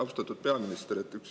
Austatud peaminister!